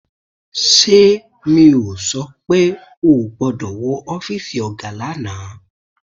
Ṣé mi ò sọ pé ò gbọ́dọ̀ wọ ọ́fíìsì ọ̀gá lánàá